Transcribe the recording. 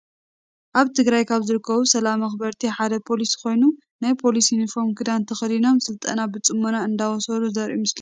ኣብ ትግራይ ካብ ዝርከቡ ሰላም መክበርቲ ሓደ ፖሊስ ኮይኑ፣ ናይ ፖሊስ ዩኒፎርም ክዳን ተከዲኖም ስልጠና ብፅሞና እንዳወሰዱ ዘርኢ ምስሊ እዩ።